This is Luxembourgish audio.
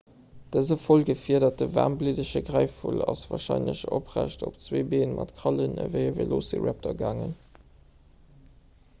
dëse voll gefiederten waarmbliddege gräifvull ass warscheinlech oprecht op zwee bee mat krallen ewéi e velociraptor gaangen